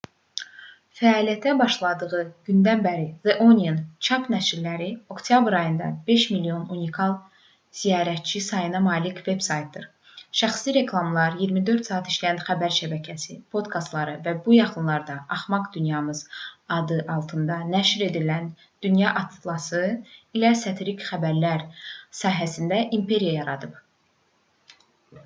fəaliyyətə başladığı gündən bəri the onion çap nəşrləri oktyabr ayında 5 000 000 unikal ziyarətçi sayına malik veb-saytı şəxsi reklamları 24 saat işləyən xəbər şəbəkəsi podkastları və bu yaxınlarda axmaq dünyamız adı altında nəşr edilən dünya atlası ilə satirik xəbərlər sahəsində imperiya yaradıb